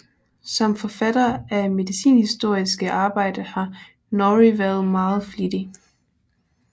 Som forfatter af medicinhistoriske arbejder har Norrie været meget flittig